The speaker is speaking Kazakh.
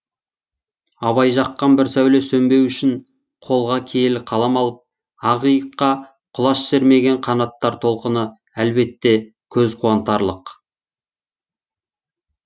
абай жаққан бір сәуле сөнбеу үшін қолға киелі қалам алып ақиыққа құлаш сермеген қанаттар толқыны әлбетте көз қуантарлық